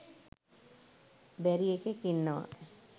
බැරි එකෙක් ඉන්නවා.